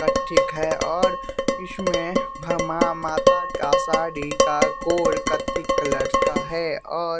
ठीक है और इसमें माता का साड़ी का कोर कत्थी कलर का है और --